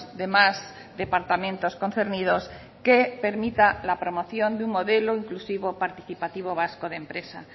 demás departamentos concernidos que permita la promoción de un modelo inclusivo participativo vasco de empresa